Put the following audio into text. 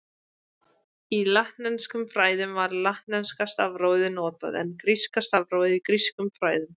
Í latneskum fræðum var latneska stafrófið notað, en gríska stafrófið í grískum fræðum.